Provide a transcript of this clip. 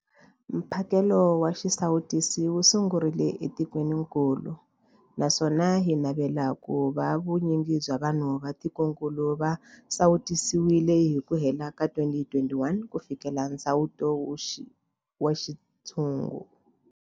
Mphakelo wa xisawutisi wu sungurile etikwenikulu naswona hi navela ku va vu nyingi bya vanhu va tikokulu va sawutisiwile hi ku hela ka 2021 ku fikelela nsawuto wa xintshungu.